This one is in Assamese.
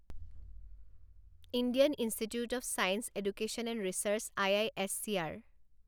Indian institute of science education and research I I S C R